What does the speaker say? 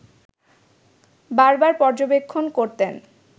বারবার পর্যবেক্ষণ করতেন